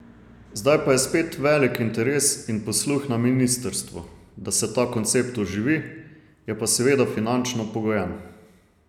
Zdaj pa je spet velik interes in posluh na ministrstvu, da se ta koncept oživi, je pa seveda finančno pogojen.